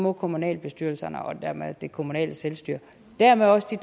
at kommunalbestyrelserne og dermed det kommunale selvstyre og dermed også de